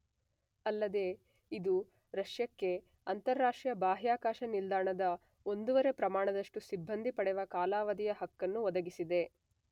ಅಲ್ಲದೇ ಇದು ರಷ್ಯಕ್ಕೆ ಅಂತರರಾಷ್ಟ್ರೀಯ ಬಾಹ್ಯಾಕಾಶ ನಿಲ್ದಾಣದ ನ ಒಂದೂವರೆ ಪ್ರಮಾಣದಷ್ಟು ಸಿಬ್ಬಂದಿ ಪಡೆವ ಕಾಲಾವಧಿಯ ಹಕ್ಕನ್ನು ಒದಗಿಸಿದೆ.